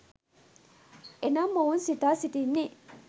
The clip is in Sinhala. එනම් ඔවුන් සිතා සිටින්නේ